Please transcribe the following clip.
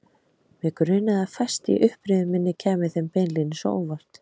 Mig grunaði að fæst í upprifjun minni kæmi þeim beinlínis á óvart.